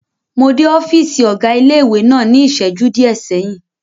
Mo dé ọ́fìsì ọ̀gá ilé-ìwé náà ní ìsẹ́jú díẹ̀ sẹ́yìn